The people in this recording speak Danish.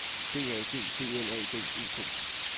D A G B L A D E T